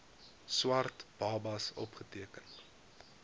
swart babas opgeteken